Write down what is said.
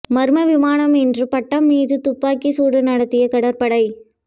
மர்ம விமானம் என்று பட்டம் மீது துப்பாக்கிச் சூடு நடத்திய கடற்படை